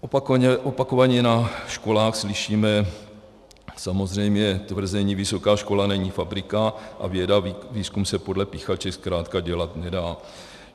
Opakovaně na školách slyšíme samozřejmě tvrzení: vysoká škola není fabrika a věda, výzkum se podle píchaček zkrátka dělat nedá.